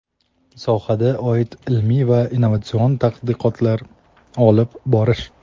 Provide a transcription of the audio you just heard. sohaga oid ilmiy va innovatsion tadqiqotlar olib borish;.